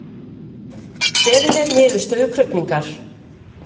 Beðið er niðurstöðu krufningar